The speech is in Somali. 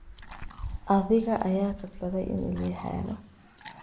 Adhiga aya kasbadhey ini liixelo.